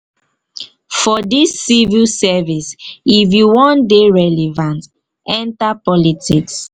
for dis civil service if you wan dey relevant enta politics.